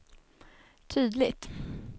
tydligt